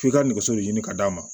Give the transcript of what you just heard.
F'i ka nɛgɛso de ɲini ka d'a ma